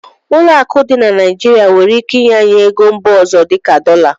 Ụlọ akụ dị na Naijiria nwere ike inye anyị ego mba ọzọ dị ka dọla.